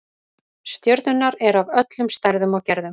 Stjörnurnar eru af öllum stærðum og gerðum.